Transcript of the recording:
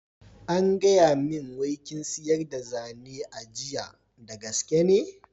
An gaya min wai kin siryar da zane a jiya, da gaske ne?